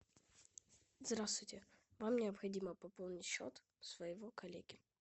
здравствуйте вам необходимо пополнить счет своего коллеги